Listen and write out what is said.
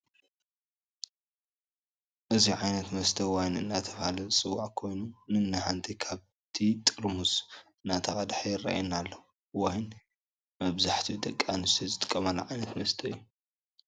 እዚ ዓይነታት መስተ ዋይን እንዳተባሃለ ዝፅዋዕ ኮይኑ ንንሓንቲ ካብቲ ጥርሑዝ እንዳቀደሐ የረኣና ኣሎ። ዋይን መብዛሕቲኣን ደቂ ኣንስትዮ ዝጠቀማሉ ዓይነት መስተ እዩ።